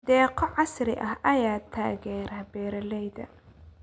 Deeqo casri ah ayaa taageera beeralayda.